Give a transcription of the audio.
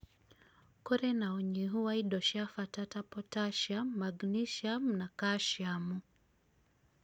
kũrĩ na ũnyihu wa indo cia bata ta potassium, magnesium, na kalciamu.